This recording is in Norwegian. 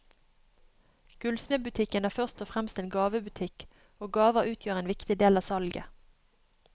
Gullsmedbutikken er først og fremst en gavebutikk, og gaver utgjør en viktig del av salget.